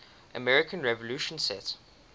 american revolution set